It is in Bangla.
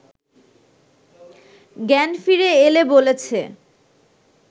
জ্ঞান ফিরে এলে বলেছে